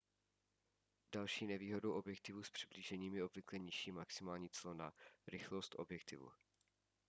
další nevýhodou objektivů s přiblížením je obvykle nižší maximální clona rychlost objektivu